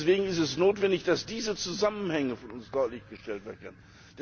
Deswegen ist es notwendig, dass diese Zusammenhänge von uns deutlich dargestellt werden.